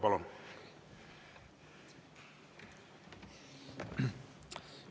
Palun!